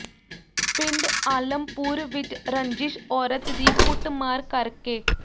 ਪਿੰਡ ਆਲਮਪੁਰ ਵਿਚ ਰੰਜਿਸ਼ ਔਰਤ ਦੀ ਕੁੱਟਮਾਰ ਕਰ ਕੇ